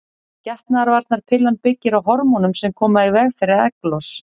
Getnaðarvarnarpillan byggir á hormónum sem koma í veg fyrir egglos.